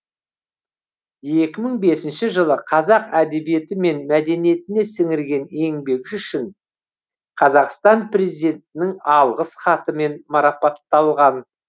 екі мың бесінші жылы қазақ әдебиеті мен мәдениетіне сіңірген еңбегі үшін қазақстан президентінің алғыс хатымен марапатталған